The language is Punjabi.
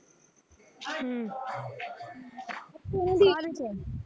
ਹਮ ਕਾਹਦੇ ਚ ਐ